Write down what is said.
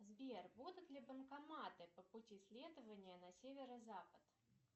сбер будут ли банкоматы по пути следования на северо запад